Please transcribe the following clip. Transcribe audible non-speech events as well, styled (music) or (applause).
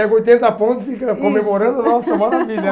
Pega oitenta pontos e fica comemorando, nossa, (laughs) maravilha.